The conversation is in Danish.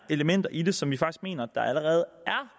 elementer i det som allerede